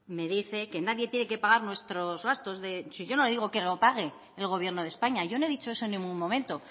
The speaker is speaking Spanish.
me dice que nadie tiene que pagar nuestros gastos de si yo no digo que lo pago el gobierno de españa yo no he dicho eso en ningún momento